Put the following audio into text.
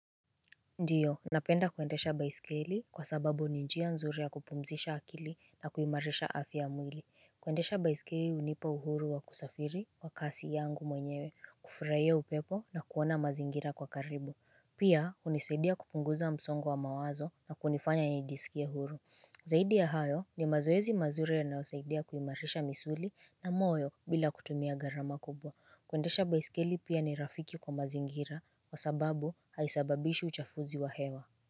Ndiyo napenda kwendesha baisikeli kwa sababu ninjia nzuri ya kupumzisha akili na kuimarisha afya ya mwili Kwendesha baisikeli unipa uhuru wa kusafiri kwa kasi yangu mwenyewe kufuraia upepo na kuona mazingira kwa karibu Pia unisaidia kupunguza msongo wa mawazo na kunifanya nijisikie huru Zaidi ya hayo ni mazoezi mazuri ya nayosaidia kuimarisha misuli na moyo bila kutumia garama kubwa Kwendesha baisikeli pia ni rafiki kwa mazingira kwa sababu haisababishi uchafuzi wa hewa.